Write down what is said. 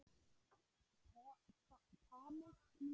Thomas kímdi.